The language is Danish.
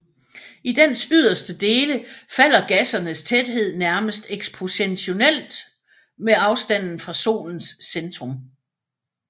I dens yderste dele falder gassernes tæthed nærmest eksponentielt med afstanden fra Solens centrum